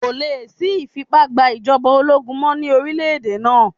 Kò lè sí ìfipá gba ìjọba ológun mọ́ ní orílẹ̀ èdè náà.